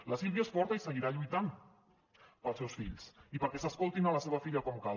la sílvia és forta i seguirà lluitant pels seus fills i perquè s’escoltin la seva filla com cal